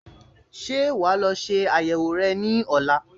Ṣé wà á lọ ṣe àyẹ̀wò rẹ ní ọ̀la?